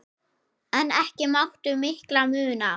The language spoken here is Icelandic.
En ekki mátti miklu muna.